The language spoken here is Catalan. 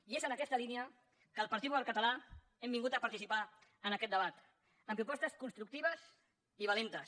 i és en aquesta línia que el partit popular català hem vingut a participar en aquest debat amb propostes constructives i valentes